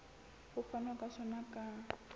ho fanwa ka sona ka